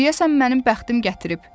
deyəsən mənim bəxtim gətirib.